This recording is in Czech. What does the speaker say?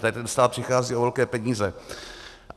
Tady ten stát přichází o velké peníze.